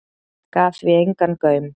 Gaf því engan gaum.